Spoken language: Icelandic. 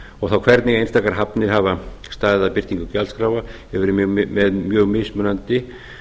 og þá hvernig einstaka hafnir hafa staðið að birtingu gjaldskráa hefur verið mjög mismunandi